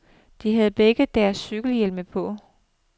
De havde begge deres cykelhjelme på.